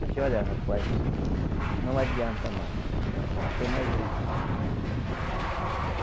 Disse, olha, rapaz, não adianta mais, não tem mais jeito.